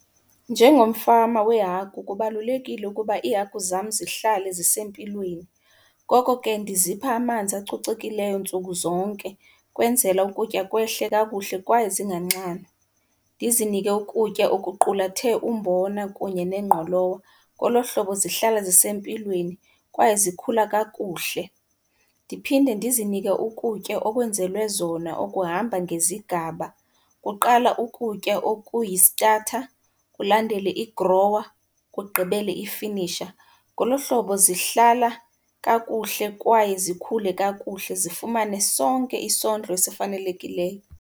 Njengomfama wehagu kubalulekile ukuba iihagu zam zihlale zisempilweni. Ngoko ke ndizipha amanzi acocekileyo ntsuku zonke kwenzela ukutya kwehle kakuhle kwaye zinganxanwa. Ndizinike ukutya okuqulathe umbona kunye nengqolowa, ngolo hlobo zihlala zisempilweni kwaye zikhula kakuhle. Ndiphinde ndizinike ukutya okwenzelwe zona okuhamba ngezigaba. Kuqala ukutya okuyi-starter, kulandele i-grower, kugqibele i-finisher. Ngolo hlobo zihlala kakuhle kwaye zikhule kakuhle, zifumane sonke isondlo esifanelekileyo.